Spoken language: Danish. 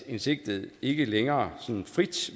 en sigtet ikke længere frit